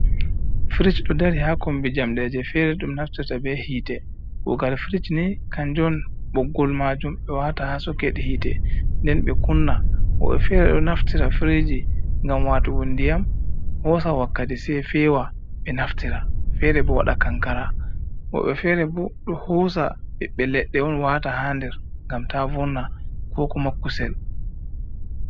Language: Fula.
Fritch ɗo dari ha kombi jamɗe je fere ɗum naftirte be hite, kugal fritch ni kanju on boggol majum ɓe wata ha soked hite nden be kunna. Woɓɓe fere ɗo naftira friji ngam watugo ndiyam hosa wakkati sai fewa benaftira, fere bo wada kankara, woɓbe fere bo hosa ɓibbbe ledde on wata ha nder ngam ta vonna kokuma kusel.